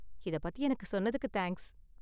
இத பத்தி எனக்கு சொன்னதுக்கு தேங்க்ஸ்.